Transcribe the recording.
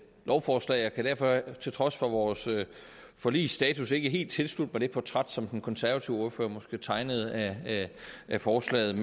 lovforslag jeg kan derfor til trods for vores forligsstatus ikke helt tilslutte mig det portræt som den konservative ordfører måske tegnede af forslaget